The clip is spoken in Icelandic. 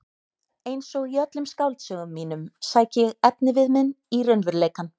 Einsog í öllum skáldsögum mínum sæki ég efnivið minn í raunveruleikann.